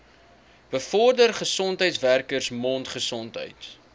bevorder gesondheidswerkers mondgesondheid